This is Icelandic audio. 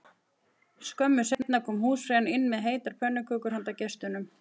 Skömmu seinna kom húsfreyjan inn með heitar pönnukökur handa gestunum